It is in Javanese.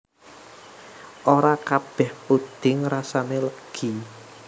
Ora kabéh pudhing rasané legi